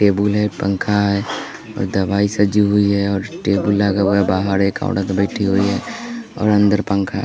Table है पंखा है दवाई सजी हुई है और टेबल लगा हुआ है बाहर एक औरत बैठी हुई है और अंदर पंखा है।